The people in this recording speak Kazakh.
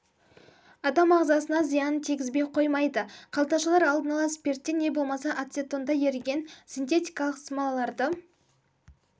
адам ағзасына зиянын тигізбей қоймайды қалташалар алдын ала спиртте не болмаса ацетонда еріген синтетикалық смолаларды